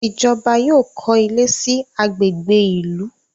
Ijọba yóò kọ ilé sí agbègbè ìlú